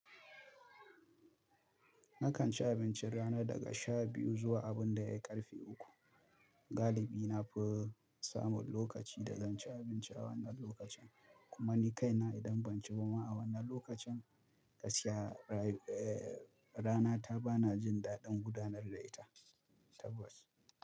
Nakan ci abincin rana daga sha biyu zuwa abin da ya ƙarfe uku. Galibi na fi samun lokaci da zan ci abinci a wannan lokacin. Kuma ni kaina idan ban ci ba ma a wannan lokacin, gaskiya rana ta ba na jin daɗin gudanar da ita. Tabas.